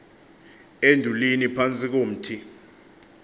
endulini phantsi komthi